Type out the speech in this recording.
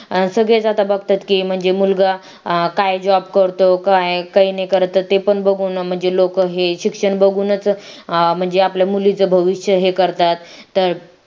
सगळेच आता बघतात की म्हणजे मुलगा काय job करतो काय काही नाही करत ते पण बघू ना म्हणजे लोक हे शिक्षण बघूनच म्हणजे आपल्या मुलीचे भविष्य हे करतात तर